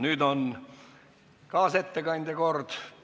Nüüd on kaasettekandja kord.